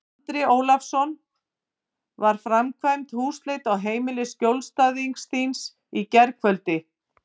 Andri Ólafsson: Var framkvæmd húsleit á heimili skjólstæðings þíns í gærkvöldi?